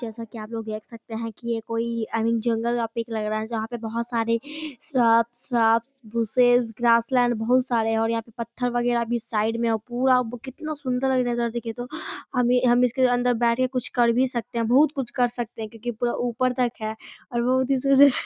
जैसा की आप लोग देख सकते हैं की ये कोई आई मिंग जंगल का पिक लग रहा है जहां पे बहुत सारी श्रब सब बुशेस ग्रासलैंड बहुत सारे हैं और यहाँ पे पत्थर वगैरा भी साइड में है पूरा केतना सुंदर लग रहा है देखिये तो अभी इसके अंदर बैठ के हम कुछ कर भी सकते हैं बहुत कुछ कर सकते हैं क्यूंकि पूरा ऊपर तक है और बहुत ही --